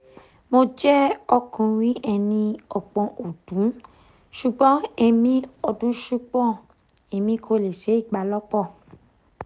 mo jẹ ọkunrin eni ogbon ọdun ṣugbọn emi ọdun ṣugbọn emi ko le ṣe ibalopo